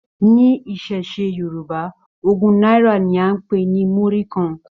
Ní iṣẹṣe Yorùbá, ogún náírà ní a n pe ní murí kàn.